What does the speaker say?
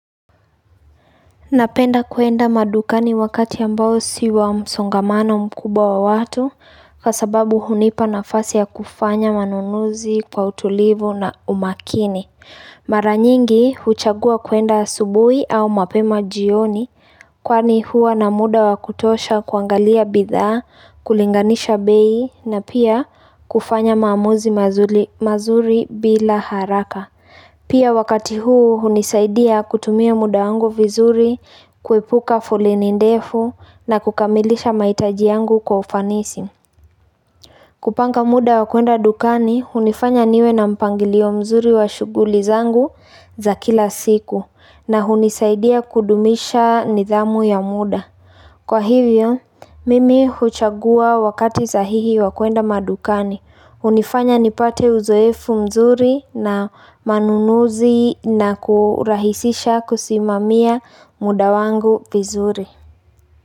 Napenda kuenda madukani wakati ambao si wamsongamano mkubwa wa watu kwa sababu hunipa nafasi ya kufanya manunuzi kwa utulivu na umakini. Mara nyingi huchagua kuenda asubui au mapema jioni kwani huwa na muda wa kutosha kuangalia bidhaa, kulinganisha bei na pia kufanya maamuzi mazuri bila haraka. Pia wakati huu hunisaidia kutumia muda wangu vizuri, kuepuka foleni ndefu na kukamilisha mahitaji yangu kwa ufanisi. Kupanga muda wa kwenda dukani, hunifanya niwe na mpangilio mzuri wa shughuli zangu za kila siku na hunisaidia kudumisha nidhamu ya muda. Kwa hivyo, mimi huchagua wakati sahihi wa kuenda madukani. HUnifanya nipate uzoefu mzuri na manunuzi na kurahisisha kusimamia muda wangu vizuri.